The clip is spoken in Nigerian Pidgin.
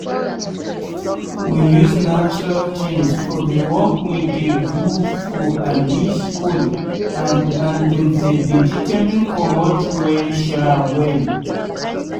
we use natural tins for the work we dey do for abi school and and the vegetable comot well sha well.